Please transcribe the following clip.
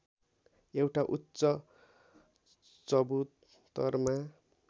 एउटा उच्च चबुतरमा